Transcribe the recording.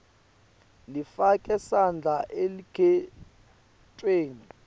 lifake sandla elukhetfweni